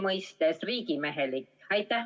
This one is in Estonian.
Kas see on riigimehelik?